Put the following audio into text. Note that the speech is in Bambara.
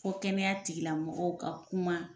Fo kɛnɛya tigilamɔgɔw ka kuma.